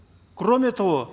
кроме того